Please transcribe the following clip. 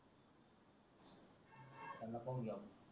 पाहून घेऊ आपण